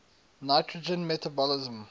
nitrogen metabolism